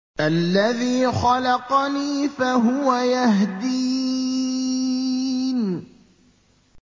الَّذِي خَلَقَنِي فَهُوَ يَهْدِينِ